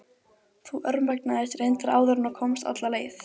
Þú örmagnaðist reyndar áður en þú komst alla leið.